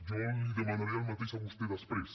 jo li demanaré el mateix a vostè després